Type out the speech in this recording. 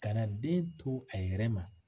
Kana den to a yɛrɛ ma.